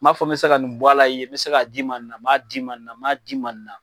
N b'a fɔ me bɛ se ka nin bɔ ala i ye ,n bɛ se k'a d'i ma nin na, m'a d'i ma nin na, m'a d'i ma nin na.